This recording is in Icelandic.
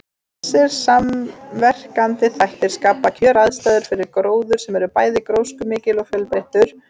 Þessir samverkandi þættir skapa kjöraðstæður fyrir gróður sem er bæði gróskumikill og fjölbreyttur.